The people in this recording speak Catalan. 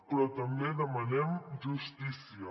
però també demanem justícia